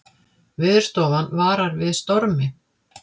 Veðurstofan varar við stormi